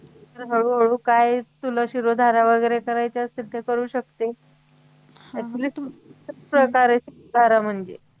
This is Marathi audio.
तर हळूहळू काय तुला शिरोधारा वैगेरे करायचं असेल तर करू शकते actually तू करा म्हणजे